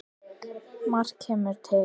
Margt kemur til.